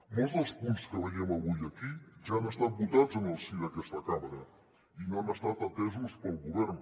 molts dels punts que veiem avui aquí ja han estat votats en el si d’aquesta cambra i no han estat atesos pel govern